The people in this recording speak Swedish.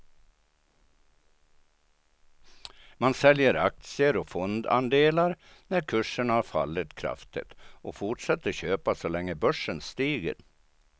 Man säljer aktier eller fondandelar när kurserna har fallit kraftigt och fortsätter köpa så länge börsen stiger.